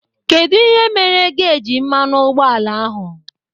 Kedụ mere geji mmanụ ụgbọala ahụ?